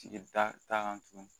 Tigi ta t'a kan tugun